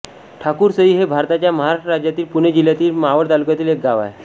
ठाकूरसई हे भारताच्या महाराष्ट्र राज्यातील पुणे जिल्ह्यातील मावळ तालुक्यातील एक गाव आहे